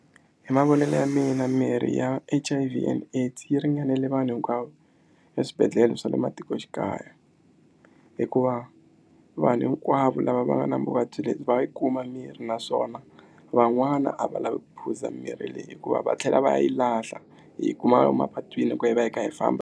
Hi mavonelo ya mina mirhi ya H_I_V and AIDS yi ringanele vanhu hinkwavo eswibedhlele swa le matikoxikaya hikuva vanhu hinkwavo lava va nga na vuvabyi lebyi va yi kuma mirhi naswona van'wana a va lavi ku phuza mirhi leyi hikuva va tlhela va yi lahla hi yi kuma emapatwini loko hi ku ya hi va hi kha hi famba.